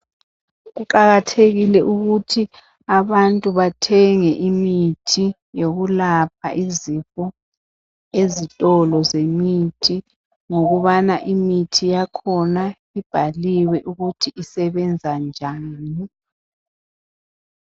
Kuqakathekile ukuthi abantu bathenge imithi yokulapha izifo ezitolo zemithi ngokubana imithi yakhona ibhaliwe ukuthi isebenza njani